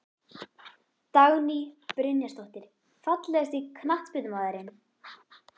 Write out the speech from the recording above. Dagný Brynjarsdóttir Fallegasti knattspyrnumaðurinn?